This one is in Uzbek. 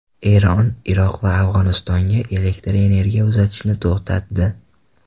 Eron Iroq va Afg‘onistonga elektr energiya uzatishni to‘xtatdi.